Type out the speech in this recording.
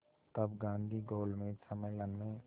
तब गांधी गोलमेज सम्मेलन में